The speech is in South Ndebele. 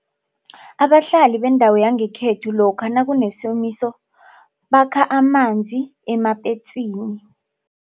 Abahlali bendawo yangekhethu lokha nakunesomiso bakha amanzi emapetsini.